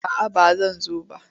A'a ba zan zo ba.